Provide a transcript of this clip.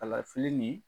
Kalafili nin